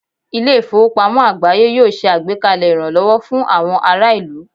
Ilé ìfowópamọ́ àgbááyé yóò ṣe àgbékalẹ̀ ìrànlọ́wọ́ fún àwọn ará ìlú